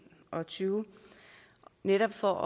og tyve netop for